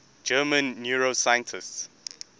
german neuroscientists